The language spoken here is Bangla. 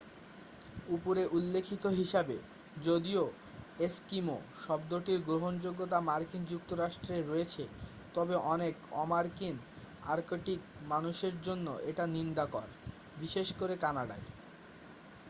"উপরে উল্লিখিত হিসাবে যদিও "এস্কিমো" শব্দটির গ্রহনযোগ্যতা মার্কিন যুক্তরাষ্ট্রে রয়েছে তবে অনেক অমার্কিন আর্কটিক মানুষের জন্য এটা নিন্দাকর বিশেষ করে কানাডায়।